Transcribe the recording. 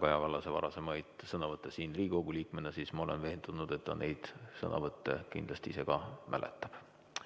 Kaja Kallase varasemaid sõnavõtte siin Riigikogu liikmena, siis ma olen veendunud, et ta neid sõnavõtte kindlasti ise ka mäletab.